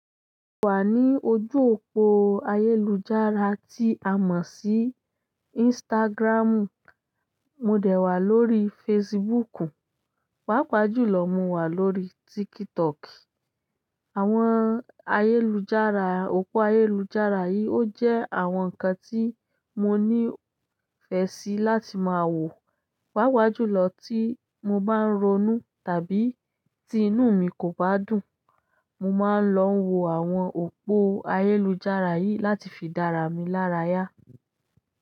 Mo wà ní ojú òpó ayélujára tí a mọ̀ sí Instagram. Mò dẹ wà lórí Facebook. Páápajùlọ, mo wà lórí TikTok. Àwọn ayélujára, òpó ayélujára yìí ó jẹ́ àwọn ǹkan tí mo ní ìfẹ́ sí láti máa wò. Páápajù lo tí mo bá ń ronú tàbí tí inú mi kò bá dùn, mo máa ń lọ wo àwọn òpó ayélujára yìí láti fi dára mi lára yá.